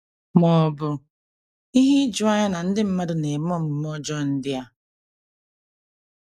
Ma ọ̀ bụ ihe ijuanya na ndị mmadụ na - eme omume ọjọọ ndị a?